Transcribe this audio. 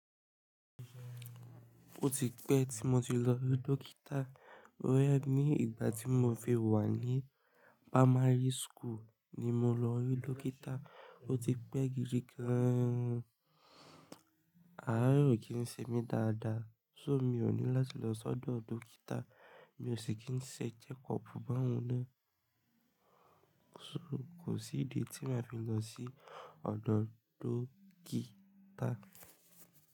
Ó ti pẹ́ tí mo ti lọ rí Dókítà. Bóyá ní ìgbà tí mo fi wà ní primary school ni mo lọ rí Dókítà. Ó ti pẹ́ gidi gan. Àáre kì ń ṣe mí dáadáa, ṣó mi ò ní láti lọ sọ́dọ̀ Dókítà? Mi ò ṣe kí ń ṣe check up bá wùn ná. Kò sí ìdí tí màá fi lọ sí ọ̀dọ̀ Dókítà.